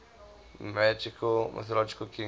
mythological kings